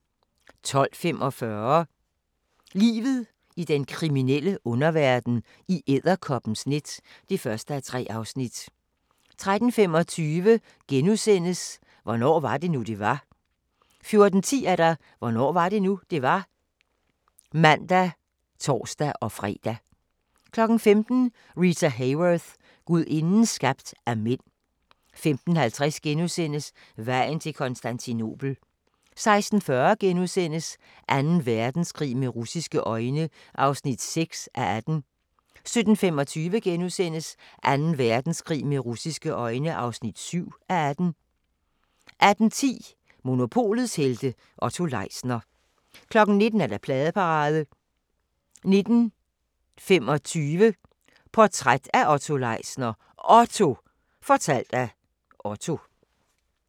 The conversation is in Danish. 12:45: Livet i den kriminelle underverden - i edderkoppens net (1:3) 13:25: Hvornår var det nu, det var? *(man og fre) 14:10: Hvornår var det nu, det var? (man og tor-fre) 15:00: Rita Hayworth – gudinden skabt af mænd 15:50: Vejen til Konstantinopel (1:6)* 16:40: Anden Verdenskrig med russiske øjne (6:18)* 17:25: Anden Verdenskrig med russiske øjne (7:18)* 18:10: Monopolets helte - Otto Leisner 19:00: Pladeparade 19:25: Portræt af Otto Leisner: OTTO – fortalt af Otto